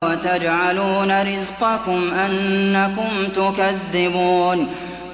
وَتَجْعَلُونَ رِزْقَكُمْ أَنَّكُمْ تُكَذِّبُونَ